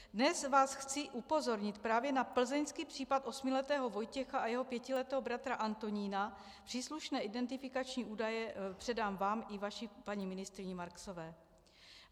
Dnes vás chci upozornit právě na plzeňských případ osmiletého Vojtěcha a jeho pětiletého bratra Antonína, příslušné identifikační údaje předám vám i vaší paní ministryni Marksové.